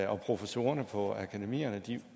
og professorerne på akademierne